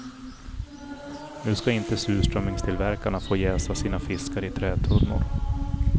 Nu ska inte surströmmingstillverkarna få jäsa sina fiskar i trätunnor.